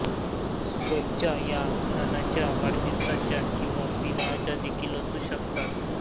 शुभेच्छा ह्या सणाच्या वाढदिवसाच्या किव्हा विवाहाच्या देखील असू शकतात